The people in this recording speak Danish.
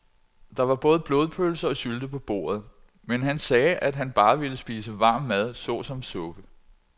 Der var både blodpølse og sylte på bordet, men han sagde, at han bare ville spise varm mad såsom suppe.